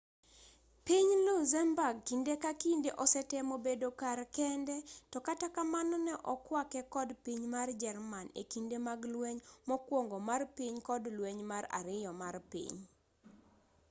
piny luxemburg kinde ka kinde osetemo bedo kar kende to kata kamano ne okwake kod piny mar jerman e kinde mag lweny mokuongo mar piny kod lweny mar ariyo mar piny